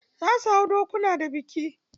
Za su hau dokuna da biki.